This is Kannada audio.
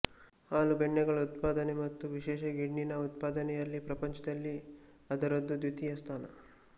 ಹಾಲು ಬೆಣ್ಣೆಗಳ ಉತ್ಪಾದನೆ ಮತ್ತು ವಿಶೇಷ ಗಿಣ್ಣಿನ ಉತ್ಪಾದನೆಯಲ್ಲಿ ಪ್ರಪಂಚದಲ್ಲಿ ಅದರದು ದ್ವಿತೀಯ ಸ್ಥಾನ